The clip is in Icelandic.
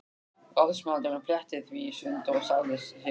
Ráðsmaðurinn fletti því í sundur og sagði síðan